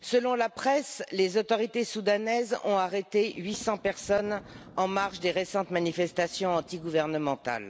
Selon la presse, les autorités soudanaises ont arrêté 800 personnes en marge des récentes manifestations antigouvernementales.